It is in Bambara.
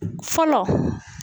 Fɔlɔ